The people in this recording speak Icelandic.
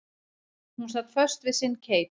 Hún sat föst við sinn keip.